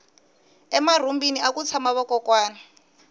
emarhumbini aku tshama vakokwani